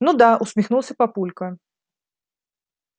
ну да усмехнулся папулька